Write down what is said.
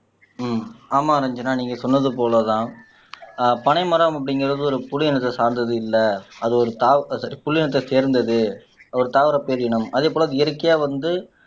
ஹம் ஆமா ரஞ்சனா நீங்க சொன்னது போலதான் ஆஹ் பனை மரம் அப்படிங்கறது ஒரு புள் இனத்தைச் சார்ந்தது இல்லை அது ஒரு புள் இனத்தைச் சேர்ந்தது தாவர பேரினம் அதே போல அது இயற்கையா வந்து